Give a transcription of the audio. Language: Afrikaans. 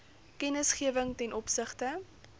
kennisgewing ten opsigte